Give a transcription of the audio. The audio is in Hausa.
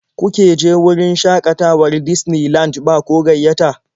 Kuke je wurin shaƙatawar Disney Land ba ko gayyata?